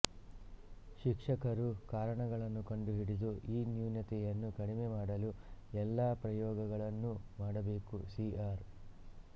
ಶಿಕ್ಷಕರು ಕಾರಣಗಳನ್ನು ಕಂಡುಹಿಡಿದು ಈ ನ್ಯೂನತೆಯನ್ನು ಕಡಿಮೆ ಮಾಡಲು ಎಲ್ಲ ಪ್ರಯೋಗಗಳನ್ನೂ ಮಾಡಬೇಕು ಸಿ ಆರ್